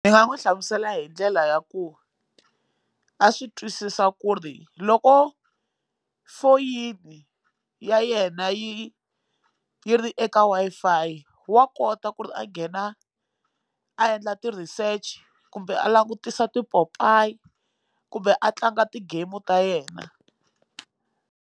Ni nga n'wi hlamusela hi ndlela ya ku a swi twisisa ku ri loko foyini ya yena yi yi ri eka Wi-Fi wa kota ku ri a nghena a endla ti research kumbe a langutisa tipopayi kumbe a tlanga ti game ta yena.